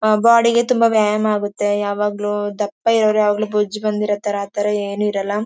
Body ಗೆ ತುಂಬ ವ್ಯಾಯಾಮ ಆಗುತ್ತೆ ಯಾವಾಗಲೂ ದಪ್ಪ ಇರೋರು ಯಾವಾಗಲೂ ಬೊಜ್ಜು ಬಂದಿರೊತರ ಆ ಥರ ಏನು ಇರಲ್ಲ.